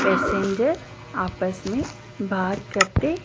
passenger आपस में बात करते--